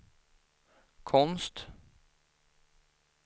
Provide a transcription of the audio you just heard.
konst